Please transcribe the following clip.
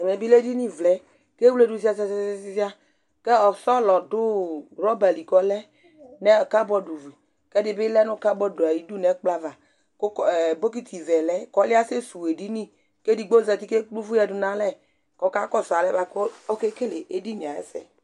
ẽmẽbilɛ ɛɗiṅivlẽ kɛ vléɗũ ziɑziɑziɑ kọ ɛsɔlọɗụ róbɑli ƙɔlé mɛ kɑbọɗ kɛɗibilɛ nu ƙɑboɗ ɑyiɗu ɲɛkploɑvɑ ku bokitivẽlɛ kɔluɛ ɑsɛsũwω ɛɗiṅi kɛɗigbozɑti kɛkplɛ ωvuyɛɗũṇɑlé kɔkɑkosu ɑlɛkɔkɛkəlé ɛɗiɲiɑ yɛsɛ